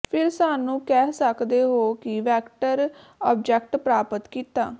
ਫਿਰ ਸਾਨੂੰ ਕਹਿ ਸਕਦੇ ਹੋ ਕਿ ਵੈਕਟਰ ਆਬਜੈਕਟ ਪ੍ਰਾਪਤ ਕੀਤਾ